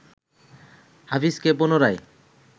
হাফিজকে পুনরায়